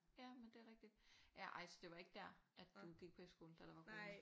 Ja men det er rigtigt ja ej så det var ikke der at du gik på efterskole at der var corona